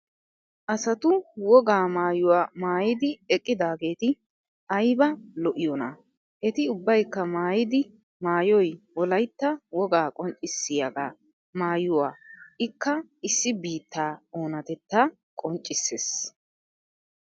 Asatu wogaa maayuwa maayidieqqidaageeti ayb lo'iyonaa! Eti ubbaykka mayddi maayoy wolaytta wigaa qonccissiya aigaa maayuwa ikkaa issi biittaa oonattetta qinccissees.